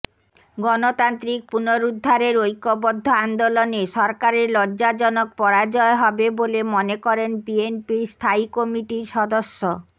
গণতান্ত্রিক পুনরুদ্ধারের ঐক্যবদ্ধ আন্দোলনে সরকারের লজ্জাজনক পরাজয় হবে বলে মনে করেন বিএনপির স্থায়ী কমিটির সদস্য